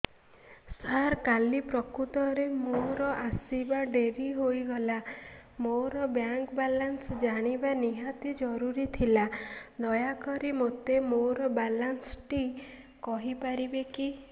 ସାର କାଲି ପ୍ରକୃତରେ ମୋର ଆସିବା ଡେରି ହେଇଗଲା ମୋର ବ୍ୟାଙ୍କ ବାଲାନ୍ସ ଜାଣିବା ନିହାତି ଜରୁରୀ ଥିଲା ଦୟାକରି ମୋତେ ମୋର ବାଲାନ୍ସ ଟି କହିପାରିବେକି